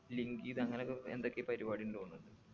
link ചെയ്ത് അങ്ങനൊക്കെ എന്തൊക്കെയോ പരിപാടിണ്ട് തോന്ന്